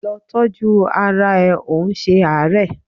Lọ tọ́jú ara ẹ, ò ń ṣe àárẹ̀!